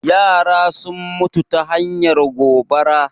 Yara sun mutu ta hanyar gobara